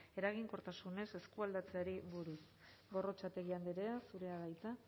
eraginkortasunez eskualdatzeari buruz gorrotxategi andrea zurea da hitza